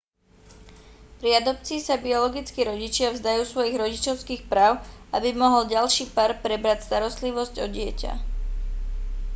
pri adopcii sa biologickí rodičia vzdajú svojich rodičovských práv aby mohol ďalší pár prebrať starostlivosť o dieťa